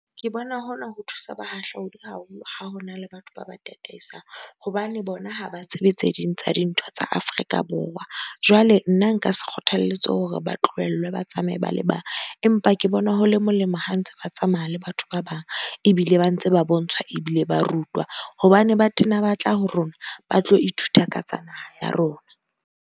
Ke bona hona ho thusa bahahlaodi ha ha ho na le batho ba ba tataisang hobane bona ha ba tsebe tse ding tsa dintho tsa Afrika Borwa. Jwale nna nka se kgothalletse hore ba tlohellwe, ba tsamaya mo ba le bang, empa ke bona ho le molemo, ha ntse ba tsamaya le batho ba bang ebile ba ntse ba bontshwa ebile ba rutwa. Hobane ba tena ba tla ho rona ba tlo ithuta ka tsa naha ya rona.